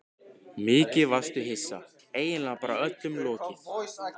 Mikið varstu hissa, eiginlega bara öllum lokið.